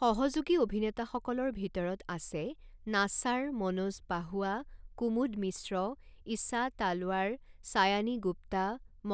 সহযোগী অভিনেতাসকলৰ ভিতৰত আছে নাছাৰ, মনোজ পাহোৱা, কুমুদ মিশ্ৰ, ঈশা তালৱাৰ, ছায়ানী গুপ্তা,